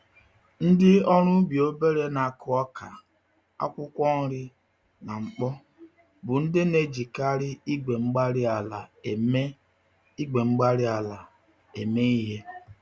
Ndị ọrụ ubi obere n'akụ ọka, akwụkwọ nri, na mkpo, bụ ndị n'ejikarị igwe-mgbárí-ala eme igwe-mgbárí-ala eme ìhè.